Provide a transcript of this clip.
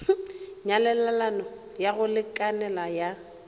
nyalelano ya go lekanela ya